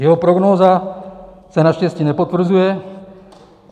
Jeho prognóza se naštěstí nepotvrzuje.